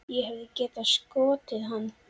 Ég hefði getað skotið hann.